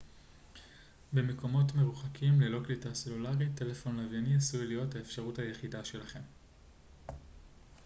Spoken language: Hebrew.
במקומות מרוחקים ללא קליטה סלולרית טלפון לוויני עשוי להיות האפשרות היחידה שלכם